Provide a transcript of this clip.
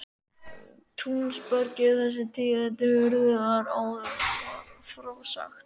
Túnsbergi er þessi tíðindi urðu er áður var frá sagt.